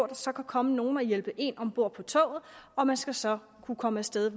der så kan komme nogle og hjælpe en ombord på toget og man skal så kunne komme af sted